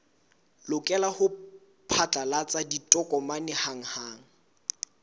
lokela ho phatlalatsa ditokomane hanghang